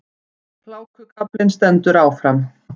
Hlákukaflinn stendur áfram